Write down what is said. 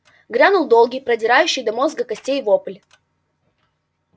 грянул долгий продирающий до мозга костей вопль